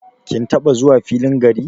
Kin taba zuwa filin gari?